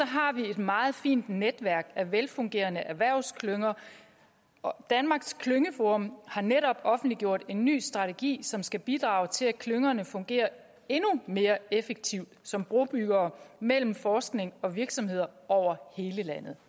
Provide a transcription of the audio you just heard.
har vi et meget fint netværk af velfungerende erhvervsklynger danmarks klyngeforum har netop offentliggjort en ny strategi som skal bidrage til at klyngerne fungerer endnu mere effektivt som brobyggere mellem forskning og virksomheder over hele landet